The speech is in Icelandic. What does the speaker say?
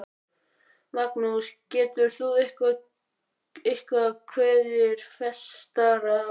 Magnús, getur þú eitthvað kveðið fastar að orði?